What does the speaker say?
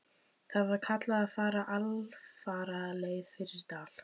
Þar var kallað að fara alfaraleið fyrir dal.